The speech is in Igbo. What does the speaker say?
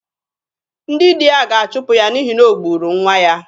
Ndị di ya ga-achụpụ ya n'ihi na o gburu nwa ya.